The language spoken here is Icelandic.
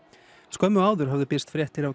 skömmu áður höfðu birst fréttir